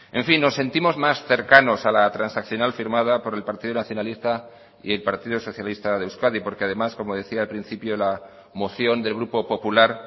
en fin nos sentimos más cercanos a la transaccional firmada por el partido nacionalista y el partido socialista de euskadi porque además como decía al principio la moción del grupo popular